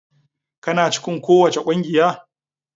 Kana cikin kowace kungiya?